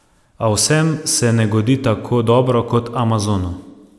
A vsem se ne godi tako dobro kot Amazonu.